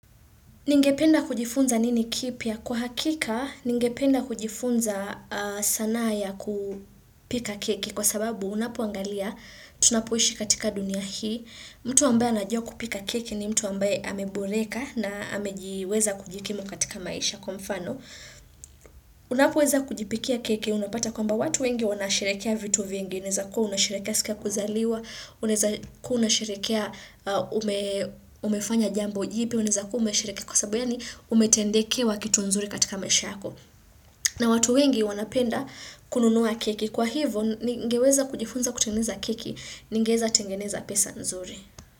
Ningependa kujifunza nini kipya? Kwa hakika, ningependa kujifunza sanaa ya kupika keki kwa sababu unapoangalia tunapoishi katika dunia hii. Mtu ambaye najua kupika keki ni mtu ambaye ameboreka na amejiweza kujikimu katika maisha kwa mfano. Unapoweza kujipikia keki unapata kwamba watu wengi wanasherekea vitu vingi. Unaezakuwa unasherekea siku ya kuzaliwa, unaeza kuwa unasherekea umefanya jambo jipya, unaezakuwa umesherekea kwa sababu ya ni umetendekewa kitu nzuri katika maisha yako. Na watu wengi wanapenda kununuwa keki. Kwa hivo ningeweza kujifunza kutengeneza keki, ningeweza tengeneza pesa nzuri.